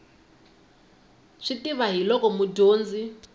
swi tiva hi loko mudyonzi